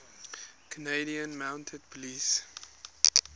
canadian mounted police